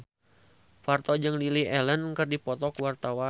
Parto jeung Lily Allen keur dipoto ku wartawan